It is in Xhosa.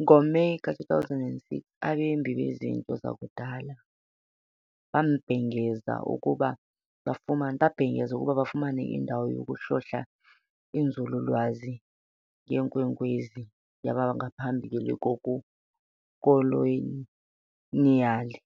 NgoMeyi ka-2006, abembi bezinto zakudala babhengeze ukuba bafumene indawo yokuhlola inzululwazi ngeenkwenkwezi yangaphambi kobukoloniyali,